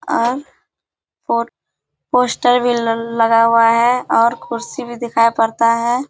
और पो पोस्टर भी ल लगा हुआ है और कुर्सी भी दिखाई पड़ता है।